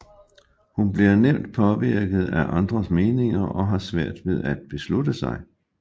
Hun bliver nemt påvirket af andres meninger og har svært ved at beslutte sig